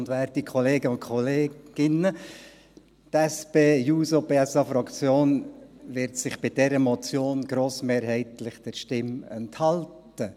Die SP-JUSO-PSA-Fraktion wird sich bei dieser Motion grossmehrheitlich der Stimme enthalten.